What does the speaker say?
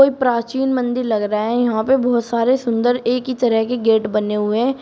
प्राचीन मंदिर लग रहा है यहां पे बहोत सारे सुंदर एक ही तरह के गेट बने हुए हैं।